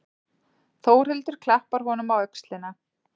Þórhildur klappar honum á öxlina.